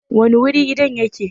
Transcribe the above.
Wani wuri gidan yake?